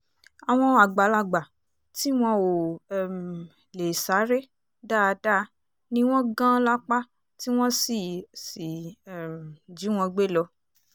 àwọn àgbàlagbà tí wọn ò um lè sáré dáadáa ni wọ́n gan lápá tí wọ́n sì sì um jí wọn gbé lọ